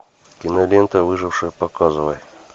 кинолента выживший показывай